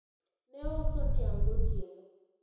ne ouso niang' gotieno